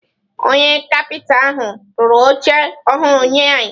Onye kapịta ahụ rụrụ oche ọhụrụ nye anyị.